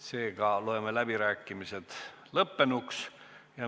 Seega loen läbirääkimised lõppenuks.